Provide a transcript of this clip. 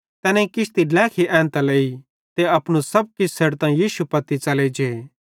तैनेईं किश्ती ड्लेखी एन्तां लेई ते अपनू सब किछ छ़ेडतां यीशु पत्ती च़ले जे